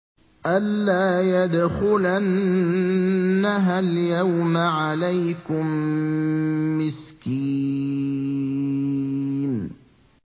أَن لَّا يَدْخُلَنَّهَا الْيَوْمَ عَلَيْكُم مِّسْكِينٌ